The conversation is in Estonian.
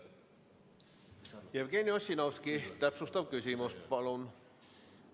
Jevgeni Ossinovski, täpsustav küsimus, palun!